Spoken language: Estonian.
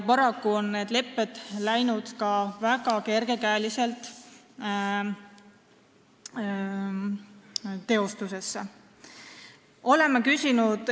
Paraku on need lepped ka väga kergekäeliselt teostusse läinud.